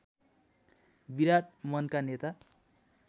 विराट मनका नेता